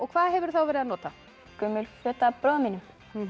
hvað hefurðu þá verið að nota gömul föt af bróður mínum